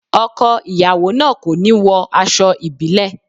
Ọkọ ìyàwó náà kò ní wọ aṣọ ìbílẹ̀.